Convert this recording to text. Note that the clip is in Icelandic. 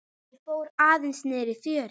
Ég fór aðeins niðrí fjöru.